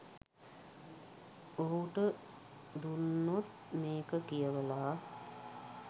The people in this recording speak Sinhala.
ඔහුට දුන්නොත් මේක කියවලා